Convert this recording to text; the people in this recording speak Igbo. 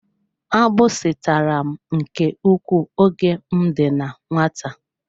Agbisi tàrà m nke ukwuu oge m dị na nwata.